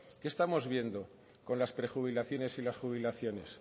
qué estamos viendo con las prejubilaciones y las jubilaciones